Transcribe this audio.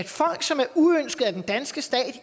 folk som er uønskede af den danske stat